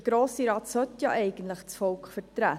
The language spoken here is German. Der Grosse Rat sollte eigentlich das Volk vertreten.